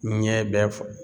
Ɲɛ bɛ falen.